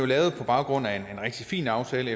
lavet på baggrund af en rigtig fin aftale